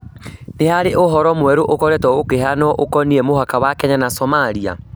Nĩ harĩ ũhoro mwerũ ũkoretwo ũkĩheanwo ũkoniĩ mũhaka wa Kenya na Somalia.